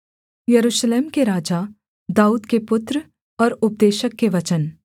यरूशलेम के राजा दाऊद के पुत्र और उपदेशक के वचन